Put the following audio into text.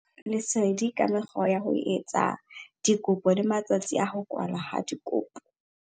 Lesedi ka mekgwa ya ho etsa dikopo le matsatsi a ho kwalwa ha dikopo.